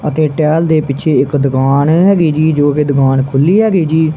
ਅਤੇ ਟਹਿਲ ਦੇ ਪਿੱਛੇ ਇੱਕ ਦੁਕਾਨ ਹੇਗੀ ਜੀ ਜੋ ਕਿ ਦੁਕਾਨ ਖੁੱਲੀ ਹੈਗੀ ਜੀ।